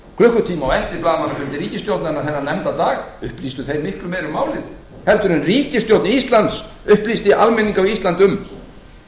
klukkutíma á eftir blaðamannafundi ríkisstjórnarinnar þennan nefnda dag upplýstu þeir miklu meira um málið heldur en ríkisstjórn íslands upplýsti almenning á íslandi um